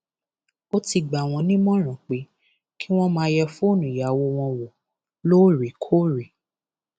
ó ti gbà wọn nímọràn pé kí wọn máa yẹ fóònù ìyàwó wọn wò lóòrèkóòrè